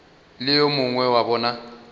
le yo mongwe wa bona